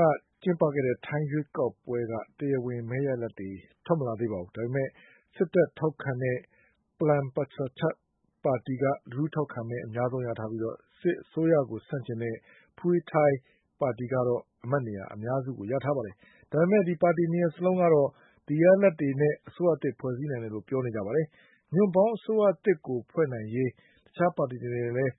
က ကျင်းပတဲ့ ထိုင်း ရွေးကောက်ပွဲရဲ့ တရားဝင် မဲရလဒ်တွေ ထွက်မလာသေးပေမယ့်လည်း စစ်တပ် ထောက်ခံတဲ့ Palang Pracharath ပါတီက လူထု ထောက်ခံမဲ အများဆုံးရထားပြီး စစ်အစိုးရကို ဆန့်ကျင်တဲ့ Pheu Thai ပါတီကတော့ အမတ်နေရာ အများစု ရထားပါတယ်။ ဒါပေမယ့် ပါတီ နှစ်ခုလုံးတို့ကတော့ ဒီရလဒ်တွေနဲ့ အစိုးရသစ် ဖွဲ့စည်းနိုင်တယ်လို့ ပြောဆိုနေကြပါတယ်။ ညွန့်ပေါင်းအစိုးရသစ် ဖွဲ့နိုင်ရေး အတွက်လည်း တခြား ပါတီတွေနဲ့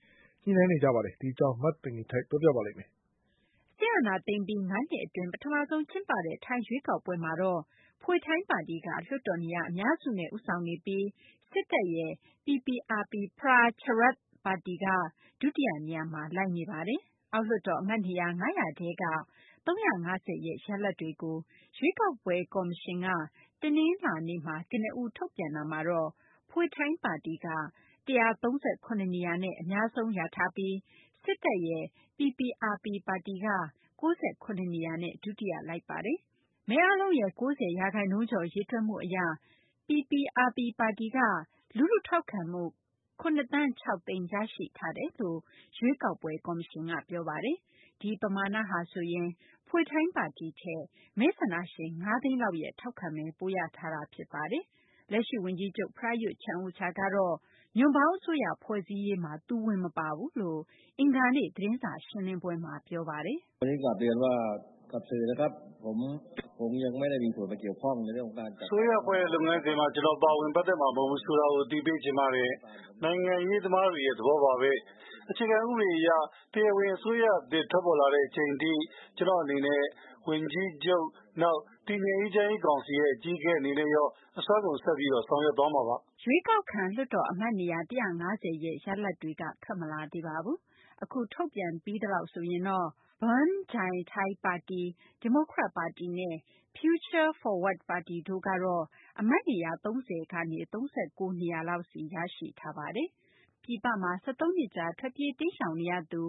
ဆွေးနွေး ညှိနှိုင်းနေကြပါတယ်။ မသိင်္ဂ ီထိုက် ပြောပြပေးမှာပါ။ စစ်အာဏာသိမ်းပြီး ၅ နှစ်အတွင်း ပထမဆုံး အကြိမ် ကျင်းပတဲ့ ထိုင်း ရွေးကောက်ပွဲ မှာတော့ Pheu Thai ပါတီက လွှတ်တော်နေရာ အများစုနဲ့ ဦးဆောင်နေပြီး စစ်တပ်က ထောက်ခံတဲ့ Palang Pracharath ပါတီက ဒုတိယ နေရာမှာ လိုက်နေပါတယ်။ အောက်လွှတ်တော် အမတ်နေရာ ၅၀၀ ထဲက ၃၅၀ ရဲ့ ရလဒ်တွေကို ရွေးကောက်ပွဲ ကော်မရှင်က တနလာၤနေ့မှာ ကနဦး ထုတ်ပြန်တဲ့ အထဲမှာတော့ Phu Thai ပါတီက ၁၃၇ နေရာနဲ့ အများဆုံး ရထားပြီး စစ်တပ်ရဲ့ Palang Pracharath ပါတီက ၉၇ နေရာနဲ့ ဒုတိယ လိုက်နေပါတယ်။ မဲအားလုံးရဲ့ ၉၀ ရာခိုင်နှုန်းကျော် ရေတွက်မှု အရ PPRP ပါတီက လူထု ထောက်ခံမဲ ၇ သန်း ၆ သိန်း ရရှိထားတယ်လို့ ရွေးကောက်ပွဲ ကော်မရှင်က ပြောဆိုထားတာပါ။ ဒီပမာဏဟာဆိုရင် Pheu Thai ပါတီထက် မဲဆန္ဒရှင် ၅ သိန်းလောက်ရဲ့ ထောက်ခံမဲ ပိုရထားတာ ဖြစ်ပါတယ်။ လက်ရှိ ဝန်ကြီးချုပ် Prayuth Chan-ocha ကတော့ ညွန့်ပေါင်းအစိုးရ ဖွဲ့စည်းရေးမှာ သူဝင် မပါဘူးလို့ အင်္ဂါနေ့ သတင်းစာ ရှင်းလင်းပွဲမှာ ပြောပါတယ်။ "အစိုးရ ဖွဲ့တဲ့ လုပ်ငန်းစဉ်မျာ ကျနော်ပါဝင် ပတ်သက်မှာ မဟုတ်ဘူးဆိုတာကို အသိပေးချင်ပါတယ်။ နိုင်ငံရေးသမားတွေရဲ့ သဘောပါဘဲ။ အခြေခံ ဥပဒေ အရ တရားဝင် အစိုးရသစ် ထွက်ပေါ်လာတဲ့ အချိန်ထိ ကျနော့် အနေနဲ့ ဝန်ကြီးချုပ်၊ နောက် တည်ငြိမ်အေးချမ်းရေး ကောင်စီ အကြီးအကဲ အနေနဲ့ရော အစွမ်းကုန် ဆက်ပြီး ဆောင်ရွက်သွားမှာပါ။" ရွေးကောက်ခံ လွှတ်တော် အမတ်နေရာ ၁၅၀ ရဲ့ ရလဒ်တွေကတော့ ထွက်မလာသေးပါဘူး။ အခု ထုတ်ပြန်ပြီးသလောက် ဆိုရင်တော့ Bhum Jai Thai ပါတီ၊ ဒီမိုကရက် ပါတီနဲ့ Future Forward ပါတီတို့ကတော့ အမတ်နေရာ ၃၀ ကနေ ၃၉ နေရာလောက်စီ ရရှိထားပါတယ်။ ပြည်ပမှာ ၁၃ နှစ်ကြာ ထွက်ပြေး တိမ်းရှောင်နေရသူ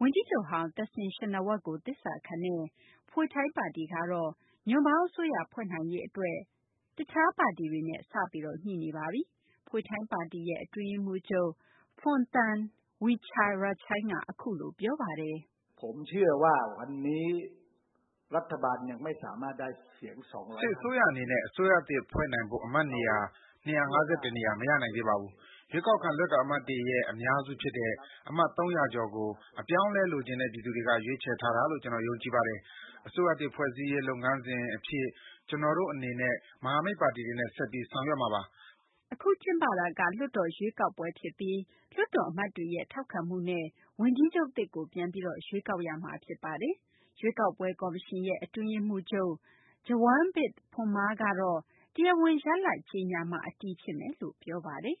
ဝန်ကြီးချုပ်ဟောင်း သက်ဆင်ရှင်နာဝပ်ကို သစ္စာခံတဲ့ Pheu Thai ပါတီကတော့ ညွန့်ပေါင်းအစိုးရ ဖွဲ့နိုင်ရေး အတွက် တခြား ပါတီတွေနဲ့ စပြီး ညှိနေပါပြီ။ Pheu Thai ပါတီရဲ့ အတွင်းရေးမှူးချုပ် Phumtham Wechayachai က အခုလို ပြောပါတယ်။ "စစ်အစိုးရ အနေနဲ့ အစိုးရသစ်ဖွဲ့နိုင်ဖို့ အမတ်နေရာ ၂၅၁ နေရာ မရနိုင်သေးပါဘူး။ ရွေးကောက်ခံ လွှတ်တော် အမတ်တွေရဲ့ အများစု ဖြစ်တဲ့ အမတ် ၃၀၀ ကျော် ကို အပြောင်းအလဲ လိုချင်တဲ့ ပြည်သူတွေက ရွေးချယ်ထားတာလို့ ကျနော် ယုံကြည်ပါတယ်။ အစိုးရသစ် ဖွဲ့စည်းရေး လုပ်ငန်းစဉ် အဖြစ် ကျနော်တို့ အနေနဲ့ မဟာမိတ်ပါတီတွေနဲ့ ဆက်ပြီး ဆောင်ရွက်မှာပါ။ " အခု ကျင်းပတာက လွှတ်တော် ရွေးကောက်ပွဲ ဖြစ်ပြီး လွှတ်တော် အမတ်တွေရဲ့ ထောက်ခံမှုနဲ့ ဝန်ကြီးချုပ်သစ်ကို ပြန်ပြီး ရွေးကောက်ရမှာ ဖြစ်ပါတယ်။ ရွေးကောက်ပွဲ ကော်မရှင်ရဲ့ အတွင်းရေးမှူးချုပ် Jarungvith Phumma ကတော့ တရားဝင် ရလဒ်ကြေညာမှ အတည်ဖြစ်မယ်လို့ ပြောဆိုထားပါတယ်။ "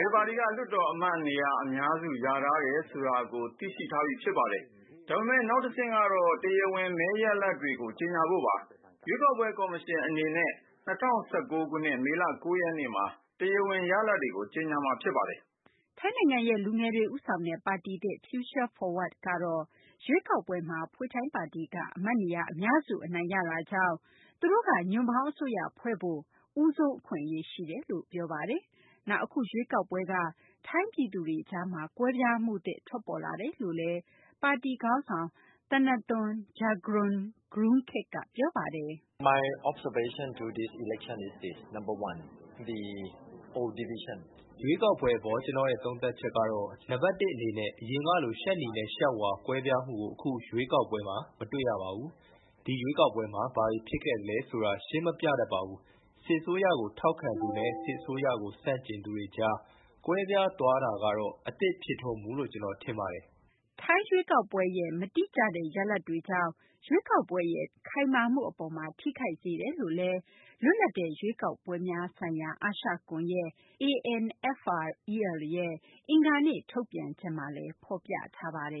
ဘယ်ပါတီက လွှတ်တော် အမတ်နေရာ အများစု ရထားတယ်ဆိုတာကို သိရှိထားပြီး ဖြစ်ပါတယ်။ ဒါပေမယ့် နောက်တဆင့်ကတော့ တရားဝင် မဲရလဒ်တွေကို ကြေညာဖို့ပါ။ ရွေးကောက်ပွဲ ကော်မရှင် အနေနဲ့ ၂၀၁၉ ခုနှစ် မေလ ၉ ရက်နေ့မှာ တရားဝင် ရလဒ်တွေကို ကြေညာမှာ ဖြစ်ပါတယ်။ " ထိုင်းနိုင်ငံရဲ့ လူငယ်တွေ ဦးဆောင်တဲ့ ပါတီသစ် Future Forward ပါတီကတော့ ရွေးကောက်ပွဲမှာ Pheu Thai ပါတီက အမတ်နေရာ အများစုကို အနိုင်ရခဲ့တာကြောင့် သူတို့က ညွန့်ပေါင်း အစိုးရဖွဲ့စည်းဖို့ အတွက် ဦးဆုံး အခွင့်အရေး ရှိတယ်လို့ ပြောဆိုထားပါတယ်။ နောက် အခု ရွေးကောက်ပွဲက ထိုင်းပြည်သူတွေကြားမှာ ကွဲပြားမှုသစ် ထွက်ပေါ်လာတယ်လို့လည်း ပါတီ ခေါင်းဆောင် Thanathorn Juangroongruangkit က ပြောပါတယ်။ " ရွေးကောက်ပွဲ အပေါ် ကျနော့်ရဲ့ သုံးသပ်ချက်ကတော့ နံပတ် ၁ အနေနဲ့ အရင်ကလို ရှပ်နီနဲ့ ရှပ်ဝါ ကွဲပြားမှုကို အခု ရွေးကောက်ပွဲမှာ မတွေ့ရပါဘူး။ ဒီရွေးကောက်ပွဲမှာ ဘာတွေ ဖြစ်ခဲ့သလဲ ဆိုတာ ရှင်းမပြတတ်ပါဘူး။ စစ်အစိုးရကို ထောက်ခံသူနဲ့ စစ်အစိုးကို ဆန့်ကျင်သူတွေကြား ကွဲပြားသွားတာကတော့ အသစ်ဖြစ်ထွန်းမှုလို့ ကျနော် ထင်ပါတယ်။" ထိုင်းရွေးကောက်ပွဲ မတိကျတဲ့ ရလဒ်တွေကြောင့် ရွေးကောက်ပွဲရဲ့ ဖြောင့်မတ် ခိုင်မာမှု အပေါ်မှာ ထိခိုက်စေယ်လို့လည်း လွတ်လပ်တဲ့ ရွေးကောက်ပွဲများဆိုင်ရာ အာရှကွန်ယက် ANFREL ရဲ့ အင်္ဂါနေ့ ထုတ်ပြန်ချက်မှာ ဖော်ပြထားပါတယ်